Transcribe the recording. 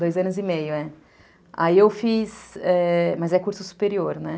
Dois anos e meio, é. Aí eu fiz... é... Mas é curso superior, né?